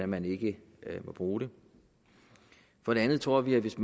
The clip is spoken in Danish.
men ikke må bruge det for det andet tror vi at hvis